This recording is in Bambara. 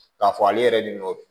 K'a fɔ ale yɛrɛ de nɔ